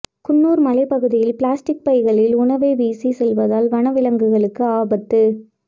குன்னூா் மலைப் பாதையில் பிளாஸ்டிக் பைகளில் உணவை வீசிச் செல்வதால் வன விலங்குகளுக்கு ஆபத்து